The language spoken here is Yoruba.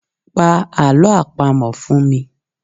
Pa alọ́ àpamọ fun mi